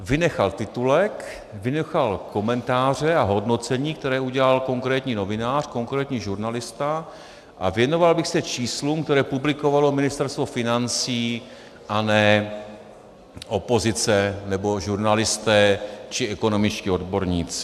, vynechal titulek, vynechal komentáře a hodnocení, které udělal konkrétní novinář, konkrétní žurnalista, a věnoval bych se číslům, která publikovalo Ministerstvo financí a ne opozice nebo žurnalisté či ekonomičtí odborníci.